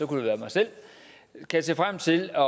det være mig selv kan se frem til